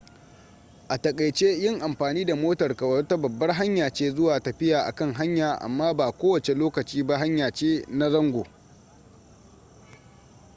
a takaice yin amfani da motarka wata babbar hanya ce zuwa tafiya a kan hanya amma ba ko wace lokaci ba hanya ce na zango